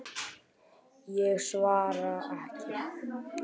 Ég svara ekki.